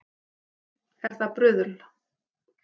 Er það bruðl